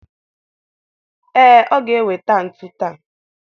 Ee, ọ ga-eweta ntu taa